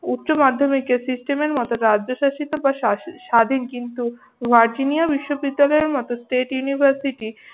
উচ্চমাধ্যমিকের system এর মত রাজ্যশাসিত বা স্বাধিন কিন্তু ভার্জিনিয়া বিশ্ববিদ্যালয়ের মত state univerity